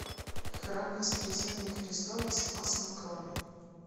храм воскресения христова спас на крови